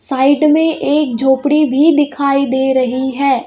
Side में एक झोपड़ी भी दिखाई दे रही है.